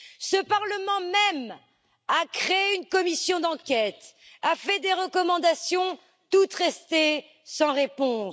Ce Parlement même a créé une commission d'enquête, a fait des recommandations, toutes restées sans réponse.